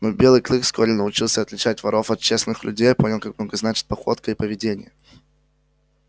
но белый клык вскоре научился отличать воров от честных людей а понял как много значат походка и поведение